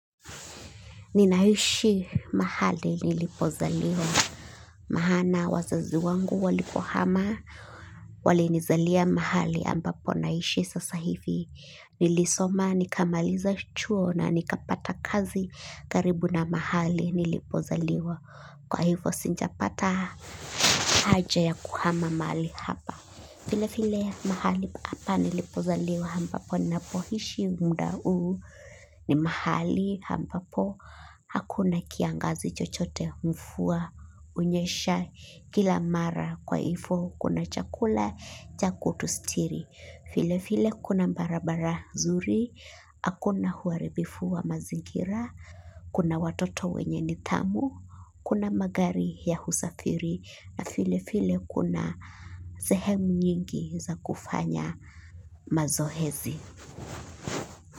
Ninaishi mahali nilipozaliwa maana wazazi wangu walipohama. Walinizalia mahali ambapo naishi sasa hivi. Nilisoma nikamaliza chuo na nikapata kazi karibu na mahali nilipozaliwa. Kwa hivo sijapata haja ya kuhama mahali hapa. File file mahali apa nilipozaliwa ampapo napohishi mda uu ni mahali ampapo hakuna kiangazi chochote mfua unyesha kila mara kwa ifo kuna chakula cha kutustiri. File file kuna bara bara zuri, akuna uaribifu wa mazingira, kuna watoto wenye nidhamu, kuna magari ya husafiri na file file kuna sehemu nyingi za kufanya mazohezi.